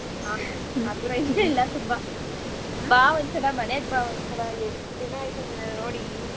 ಹಾ ನಗುರಯಯಿಸೇ ಇಲ್ಲ ತುಂಬಾ. ಬಾ ಒಂದ್ಸಲ ಮನೆಗ್ ಬಾ ಒನ್ಸಲ ಎಷ್ಟ ದಿನ ಆಯ್ತು ನಿನ್ನ ನೋಡೀ.